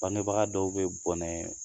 Bangebaga dɔw bɛ bɔnɛ